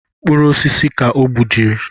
Mkpụrụ osisi ka o gbujiri